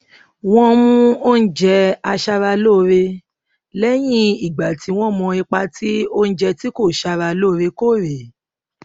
wọn mú oúnjẹ aṣaralóore lẹyìn ìgbà tí wón mọ ipa tí oúnjẹ tí kò sára lóore kóore